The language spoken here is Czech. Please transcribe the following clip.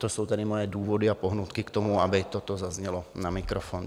To jsou tedy moje důvody a pohnutky k tomu, aby toto zaznělo na mikrofon.